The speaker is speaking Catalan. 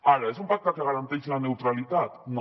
ara és un pacte que garanteix la neutralitat no